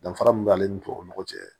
Danfara min b'ale ni tubabu cɛ